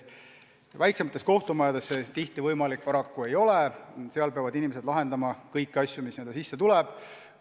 Väiksemates kohtumajades see tihti võimalik paraku ei ole, seal peavad inimesed lahendama kõiki asju, mis sisse tulevad.